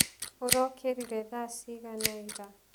ũrokĩrire thaa cigana ira.